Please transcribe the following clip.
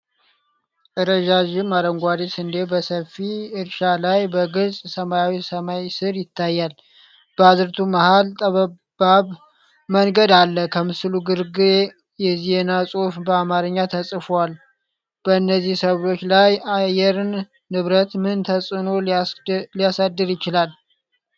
ረጃጅም አረንጓዴ ስንዴ በሰፊ እርሻ ላይ በግልጽ ሰማያዊ ሰማይ ስር ይታያል። በአዝርዕቱ መሀል ጠባብ መንገድ አለ። ከምስሉ ግርጌ የዜና ጽሁፎች በአማርኛ ተፅፈዋል። በእነዚህ ሰብሎች ላይ አየር ንብረት ምን ተጽእኖ ሊያሳድር ይችላል?